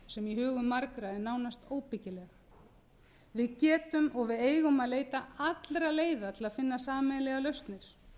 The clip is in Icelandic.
sem í hugum margra er nánast óbyggileg við getum og eigum að leita allra leiða til að finna sameiginlegar lausnir